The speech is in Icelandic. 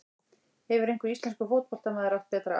Hefur einhver íslenskur fótboltamaður átt betra ár?